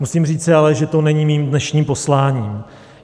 Musím ale říci, že to není mým dnešním posláním.